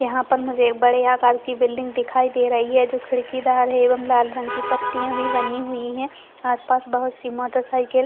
यहाँ पर मुझे बड़े आकार की बिल्डिंग दिखाई दे रही है जो खिड़कीदार है एवं लाल रंग की पत्तियां भी बनी हुई है आसपास बहुत सी मोटरसाइकिल --